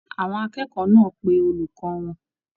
Àwọn akẹ́kọ̀ọ́ náà pé olùkọ wọn.